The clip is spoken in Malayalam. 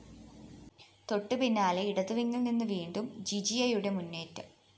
തൊട്ടുപിന്നാലെ ഇടതുവിംഗില്‍നിന്നും വീണ്ടും ജിജിയയുടെ മുന്നേറ്റം